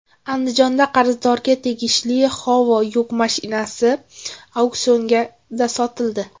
Andijonda qarzdorga tegishli Howo yuk mashinasi auksionda sotildi.